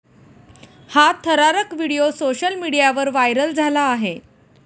हा थरारक video social मीडियावर व्हायरल झाला आहे.